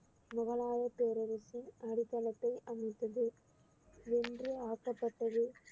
முகலாய பேரரசின் அடித்தளத்தை அமைத்தது வென்று ஆக்கப்பட்டது